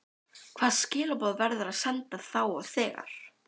Hvaða skilaboð verður að senda þá og þegar?